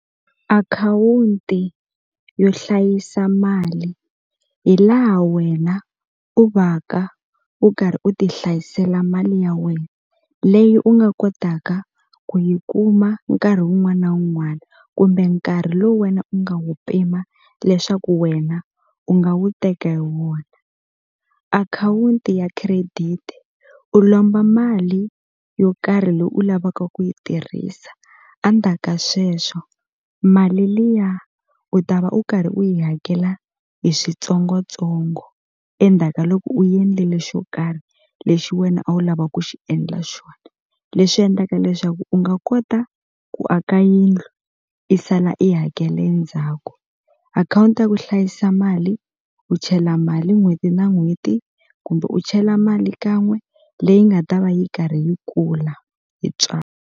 Akhawunti yo hlayisa mali hi laha wena u va ka u karhi u ti hlayisela mali ya wena leyi u nga kotaka ku yi kuma nkarhi wun'wana wun'wana kumbe nkarhi lowu wena u nga wu pima leswaku wena u nga wu teka hi wona akhawunti ya credit u lomba mali yo karhi leyi u lavaka ku yi tirhisa a ndzhaka sweswo mali liya u ta va u karhi u yi hakela hi switsongotsongo endzhaka loko u endlile xo karhi lexi wena a wu lava ku xi endla xona leswi endlaka leswaku u nga kota ku aka yindlu i sala i hakela endzhaku akhawunti ya ku hlayisa mali u chela mali n'hweti na n'hweti kumbe u chela mali kan'we leyi nga ta va yi karhi yi kula hi .